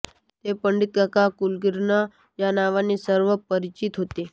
ते पंडितकाका कुलकर्णी या नावाने सर्व परिचित होते